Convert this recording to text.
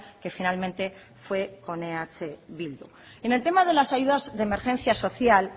que finalmente fue con eh bildu en el tema de las ayudas de emergencia social